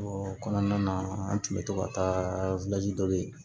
o kɔnɔna na an tun bɛ to ka taa dɔ bɛ yen